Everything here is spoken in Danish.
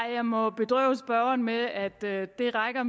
jeg må bedrøve spørgeren med at det rækker